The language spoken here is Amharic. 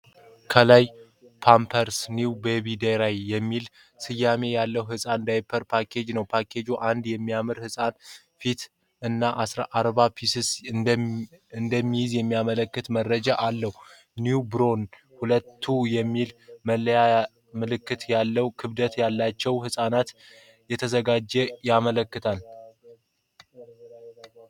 ከላይ "Pampers new baby-dry" የሚል ስያሜ ያለው የህፃን ዳይፐር ፓኬጅ ነው። ፓኬጁ አንድ የሚያምር ህፃን ፊት እና 40 ዳይፐሮችን እንደሚይዝ የሚያመለክቱ መረጃዎች አሉት።"NEWBORN 2" የሚለው መለያ ምን ዓይነት ክብደት ላላቸው ህፃናት እንደተዘጋጀ ያመለክታል?